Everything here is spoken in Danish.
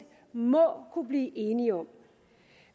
må kunne blive enige om